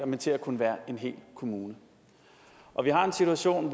men til at kunne være en hel kommune og vi har den situation